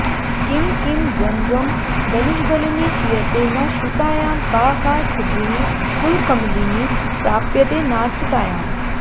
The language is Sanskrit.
किं किं द्वन्द्वं दनुजदलिनि क्षीयते न श्रुतायां का का सिद्धिः कुलकमलिनि प्राप्यते नार्चितायाम्